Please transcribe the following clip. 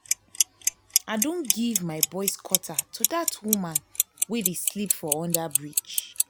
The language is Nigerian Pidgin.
i don give my boys quarter to dat women we dey sleep for under-bridge.